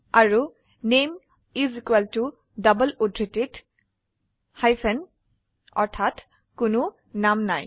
আৰু নামে is equal to double উদ্ধৃতিত হাইপেন অৰ্থাৎ কোনো নাম নাই